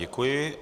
Děkuji.